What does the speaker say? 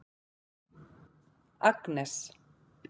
Agnes